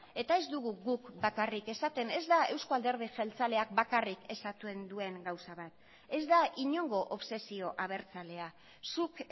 eta ez dugu guk bakarrik esaten ez da eusko alderdi jeltzaleak bakarrik esaten duen gauza bat ez da inongo obsesio abertzalea zuk